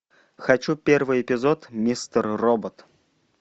хочу первый эпизод мистер робот